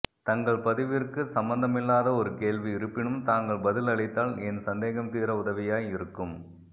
தங்கள் பதிவிற்கு சம்பந்தமில்லாத ஒரு கேள்வி இருப்பினும் தாங்கள் பதில் அளித்தால் என் சந்தேகம் தீர உதவியாய் இருக்கும்